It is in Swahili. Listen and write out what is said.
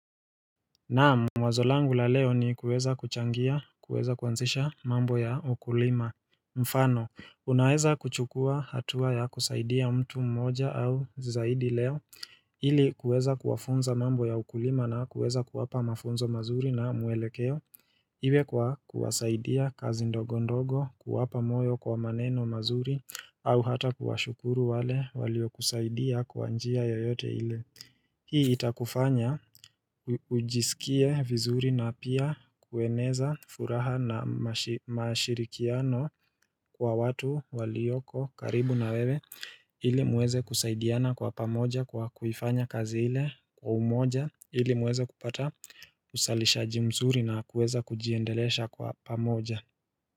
Naamu wazolangu la leo ni kuweza kuchangia kuweza kwanzisha mambo ya ukulima mfano unaweza kuchukua hatua ya kusaidia mtu mmoja au zizaidi leo Hili kuweza kuwafunza mambo ya ukulima na kuweza kuwapa mafunzo mazuri na muelekeo Iwe kwa kuwasaidia kazi ndogo ndogo kuwapa moyo kwa maneno mazuri au hata kuwashukuru wale walio kusaidia kwanjia yoyote ile Hii itakufanya ujisikie vizuri na pia kueneza furaha na mashirikiano kwa watu walioko karibu na wewe Ili muweze kusaidiana kwa pamoja kwa kuifanya kazi hile kwa umoja Ili muweze kupata usalishaji mzuri na kuweza kujiendelesha kwa pamoja.